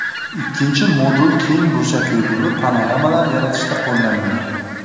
Ikkinchi modul keng burchakli bo‘lib, panoramalar yaratishda qo‘llaniladi.